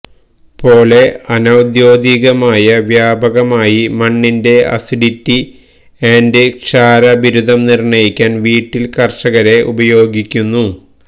പോലെ അനൌദ്യോഗികമായ വ്യാപകമായി മണ്ണിന്റെ അസിഡിറ്റി ആൻഡ് ക്ഷാര ബിരുദം നിർണ്ണയിക്കാൻ വീട്ടിൽ കർഷകരെ ഉപയോഗിക്കുന്നു